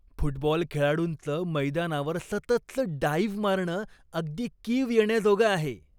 Football खेळाडूंचं मैदानावर सततचं डाइव्ह मारणं अगदी कीव येण्याजोगं आहे.